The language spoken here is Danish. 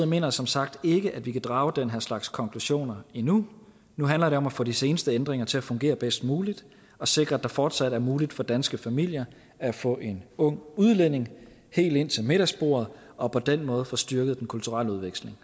mener som sagt ikke at vi kan drage den her slags konklusioner endnu nu handler det om at få de seneste ændringer til at fungere bedst muligt og sikre at det fortsat er muligt for danske familier at få en ung udlænding helt ind til middagsbordet og på den måde få styrket den kulturelle udveksling